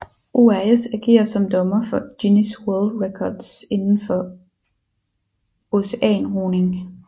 ORS agerer som dommer for Guinness World Records inden for oceanroning